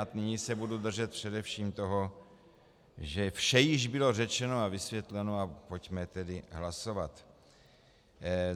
A nyní se budu držet především toho, že vše již bylo řečeno a vysvětleno, a pojďme tedy hlasovat.